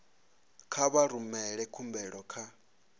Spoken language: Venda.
kha vha rumele khumbelo kha